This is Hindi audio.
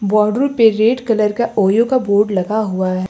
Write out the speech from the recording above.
बॉर्डर पे रेड कलर का ओयो का बोर्ड लगा हुआ है।